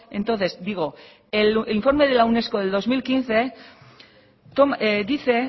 entonces digo el informe de la unesco del dos mil quince dice